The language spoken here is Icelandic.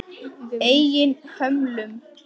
Svona orð og orð.